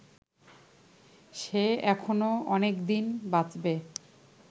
সে এখনো অনেকদিন বাঁচবে